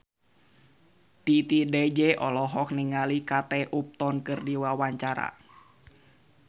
Titi DJ olohok ningali Kate Upton keur diwawancara